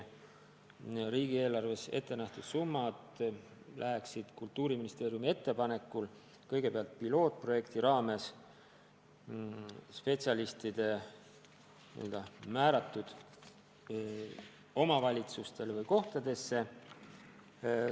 Riigieelarves selleks ette nähtud summad läheksid Kultuuriministeeriumi ettepanekul kõigepealt pilootprojekti raames spetsialistide määratud omavalitsustele või kohtadesse.